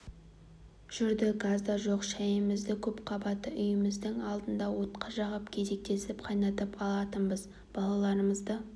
жүрді газ да жоқ шәйімізді көп қабатты үйіміздің алдына от жағып кезектесіп қайнатып алатынбыз балаларымызды